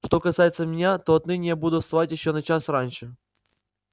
что касается меня то отныне я буду вставать ещё на час раньше